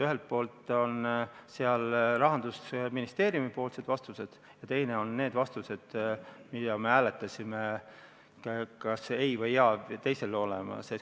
Ühelt poolt on seal Rahandusministeeriumi vastused ja teiselt poolt vastused, mida me hääletasime: kas ei või jaa.